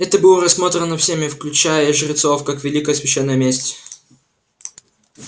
это было рассмотрено всеми включая и жрецов как великая священная месть